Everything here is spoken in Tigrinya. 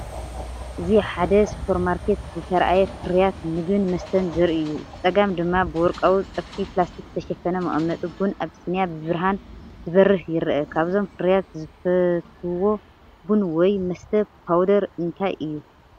እዚ ኣብ ሓደ ሱፐርማርኬት ዝተራእየ ፍርያት መግብን መስተን ዘርኢ እዩ። ብጸጋም ድማ ብወርቃዊ ጸፍሒ ፕላስቲክ ዝተሸፈነ መቐመጢ ቡን ኣቢሲንያ ብብርሃን ዝበርህ ይርአ። ካብዞም ፍርያት ዝፈትውዎ ቡን ወይ መስተ ፓውደር እንታይ እዩ?